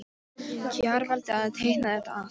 Kjarval til að teikna þetta allt.